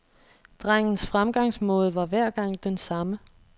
Drengens fremgangsmåde var hver gang den samme.